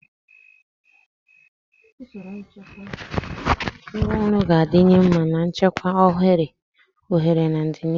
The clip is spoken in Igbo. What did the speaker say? Usoro nchekwa ngwaọrụ ga-adịwanye mma na nchekwa ohere na ọdịnihu.